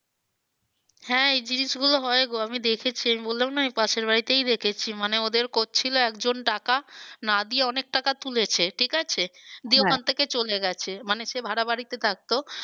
হ্যাঁ এই জিনিস গুলো হয় গো আমি দেখেছি। আমি বললাম না এই পাশের বাড়িতেই দেখেছি মানে ওদের করছিলো একজন টাকা না দিয়ে অনেক টাকা তুলেছে ঠিক আছে। ওখান থেকে চলে গেছে। মানে সে ভাড়া বাড়িতে থাকতো